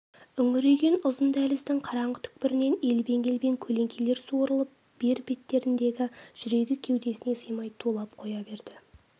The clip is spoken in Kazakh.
үңірейген ұзын дәліздің қараңғы түкпірінен елбең-елбең көлеңкелер суырылып бер беттегенде жүрегі кеудесіне сыймай тулап қоя берді